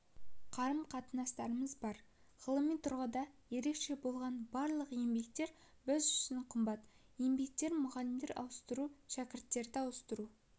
қарым-қатынастарымыз бар ғылыми тұрғыда ерекше болған барлық еңбектер біз үшін қымбат еңбектер мұғалімдер ауыстыру шәкірттерді ауыстыру